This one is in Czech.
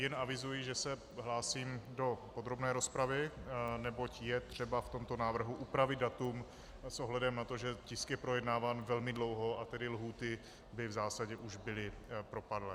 Jen avizuji, že se hlásím do podrobné rozpravy, neboť je třeba v tomto návrhu upravit datum s ohledem na to, že tisk je projednáván velmi dlouho, a tedy lhůty by v zásadě už byly propadlé.